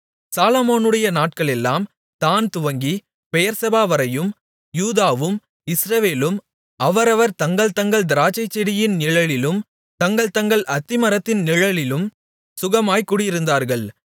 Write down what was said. சாலொமோனுடைய நாட்களெல்லாம் தாண் துவங்கி பெயெர்செபாவரையும் யூதாவும் இஸ்ரவேலும் அவரவர் தங்கள் தங்கள் திராட்சைச்செடியின் நிழலிலும் தங்கள் தங்கள் அத்திமரத்தின் நிழலிலும் சுகமாய்க் குடியிருந்தார்கள்